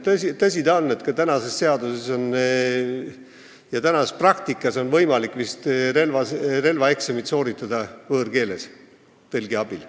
Tõsi ta on, et praeguse seaduse järgi on praktikas võimalik vist relvaeksamit sooritada võõrkeeles tõlgi abil.